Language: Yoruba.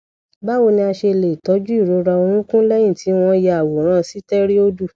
báwo ni a ṣe lè tọjú ìrora orúnkún lẹyìn tí wọn ya àwòrán steroid